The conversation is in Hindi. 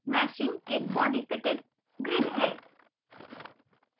meshing एक बॉडी फिटेड ग्रिड है